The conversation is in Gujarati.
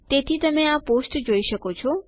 તેથી તમે આ પોસ્ટ જોઈ શકો છો